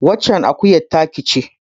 Waccen akuyar taka ce.